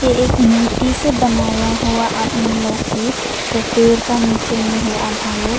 एक मूर्ति से बनाया हुआ आदमी लोग है जो पेड़ का नीचे में है आधा लोग।